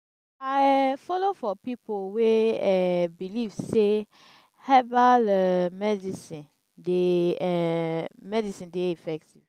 i um folo for pipo wey um believe sey herbal um medicine dey um medicine dey effective.